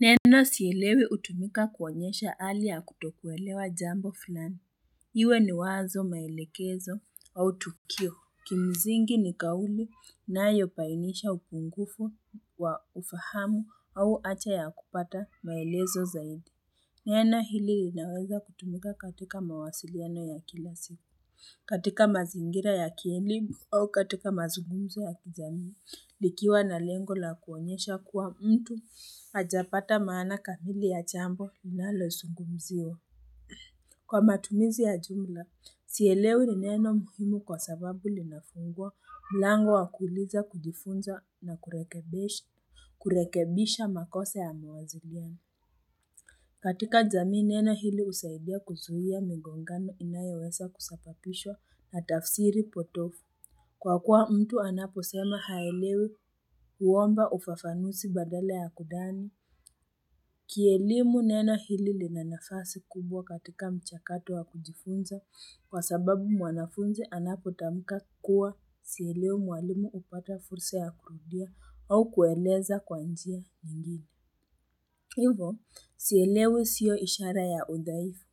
Neno sielewi hutumika kuonyesha hali ya kutokuelewa jambo fulani. Iwe ni wazo maelekezo au tukio. Kimsingi ni kauli inayobainisha upungufu wa ufahamu au haja ya kupata maelezo zaidi. Neno hili linaweza kutumika katika mawasiliano ya kila siku. Katika mazingira ya kielimu au katika mazugumzo ya kijamii. Likiwa na lengo la kuonyesha kuwa mtu hajapata maana kamili ya jambo linalozungumzio. Kwa matumizi ya jumla, sielewi ni neno muhimu kwa sababu linafungua. Lango wakuuliza kujifunza na kurekebisha makosa ya mawasiliano. Katika jamii neno hili husaidia kuzuia mingongano inayoweza kusababishwa na tafsiri potofu. Kwa kuwa mtu anapo sema haelewi huomba ufafanusi badala ya kudhani, kielimu neno hili lina nafasi kubwa katika mchakato wa kujifunza, kwa sababu mwanafunzi anapo tamka kuwa sielewi mwalimu hupata fursa ya kurudia au kueleza kwa njia nyingine. Hivo, sielewi sio ishara ya udhaifu,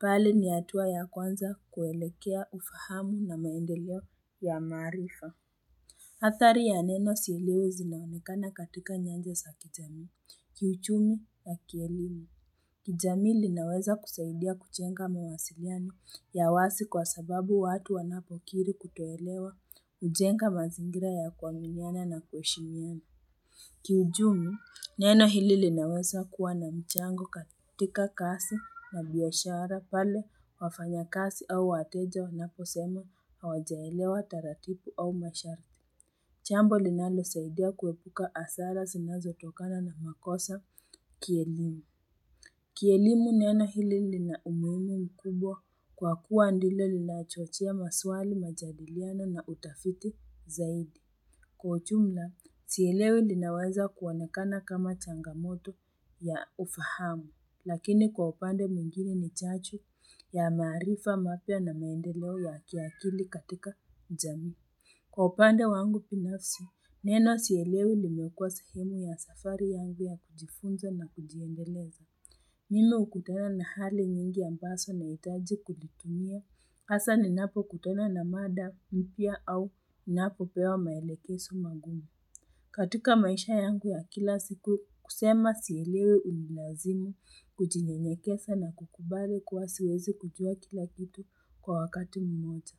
bali ni hatua ya kwanza kuelekea ufahamu na maendeleo ya maarifa. Athari ya neno sielewi zinaonekana katika nyanja za kijamii, kiuchumi ya kielimu. Kijami linaweza kusaidia kujenga mawasiliano ya wazi kwa sababu watu wanapokiri kutoelewa hujenga mazingira ya kuaminiana na kuheshimiana. Kiuchumi, neno hili linaweza kuwa na mchango katika kasi na biashara pale wafanyakazi au wateja wanaposema hawajaelewa taratibu au masharti. Jambo linalo saidia kuepuka hasara zinazotokana na makosa kielimu. Kielimu neno hili lina umuhimu mkubwa kwa kuwa ndilo linachochea maswali majadiliano na utafiti zaidi. Kwa ujumla, sielewe linaweza kuonekana kama changamoto ya ufahamu, lakini kwa upande mwingine ni chaju ya maarifa mapya na maendeleo ya kiakili katika jamii. Kwa upande wangu binafsi, neno sielewi limekuwa sehemu ya safari yangu ya kujifunza na kujiendeleza. Mimi hukutana na hali nyingi ambazo nahitaji kulitumia, haswa ninapokutana na mada mpya au ninapo pewa maelekezo magumu. Katika maisha yangu ya kila siku kusema sielewi hunilazimu kujinyenyekeza na kukubali kuwa siwezi kujua kila kitu kwa wakati mmoja.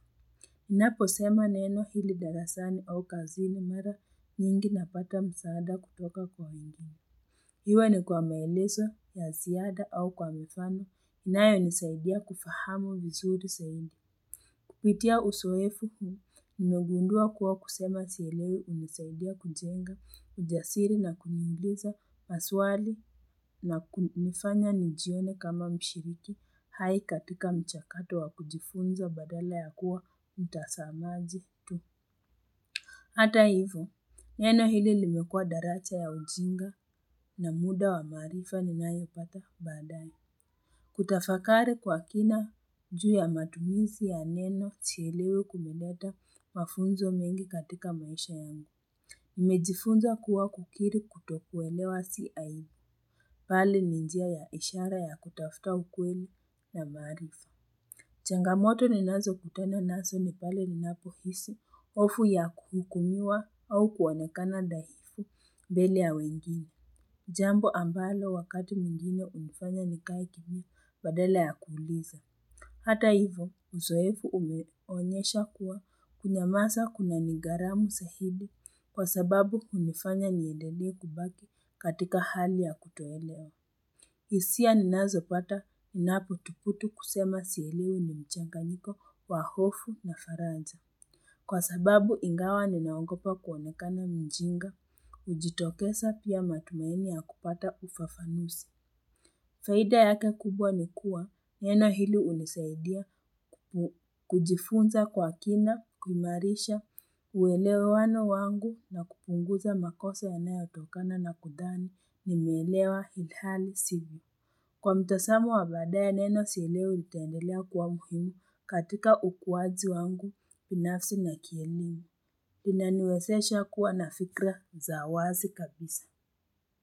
Napo sema neno hili darasani au kazini mara nyingi napata msaada kutoka kwa wengine. Iwe ni kwa maelezo ya ziada au kwa mifano inayonisaidia kufahamu vizuri zaidi. Kupitia uzoefu, nimegundua kuwa kusema sielewi hunisaidia kujenga ujasiri na kuniuliza maswali na kunifanya nijione kama mshiriki hai katika mchakato wa kujifunza badala ya kuwa mtazamaji tu. Hata hivo, neno hili limekuwa daraja ya ujinga na muda wa maarifa ninayo pata badae. Kutafakari kwa kina juu ya matumizi ya neno sielewe kumeleta mafunzo mengi katika maisha yangu. Nimejifunza kuwa kukiri kutokuelewa si aibu. Bali ni njia ya ishara ya kutafuta ukweli na maarifa. Changamoto ninazo kutana nazo ni pale ninapo hisi hofu ya kuhukumiwa au kuonekana dhahifu mbele ya wengine. Jambo ambalo wakati mwingine hunifanya nikae kimya badala ya kuuliza. Hata hivo, uzoefu umeonyesha kuwa kunyamaza kuna nigharamu zaidi kwa sababu hunifanya niendelee kubaki katika hali ya kutoelewa. Hisia ninazo pata ninapodhubutu kusema sielewi ni mchanganyiko wa hofu na faraja. Kwa sababu ingawa ninaogopa kuonekana mjinga, hujitokeza pia matumaini ya kupata ufafanusi. Faida yake kubwa nikuwa, neno hili hunisaidia kujifunza kwa kina, kuimarisha, uelewano wangu na kupunguza makosa yanayotokana na kudhani nimeelewa ilhali sivyo. Kwa mtazamo wa badaye neno sielewi litaendelea kuwa muhimu katika ukuwaji wangu, binafsi na kielimu, linaniwezesha kuwa nafikra za wazi kabisa.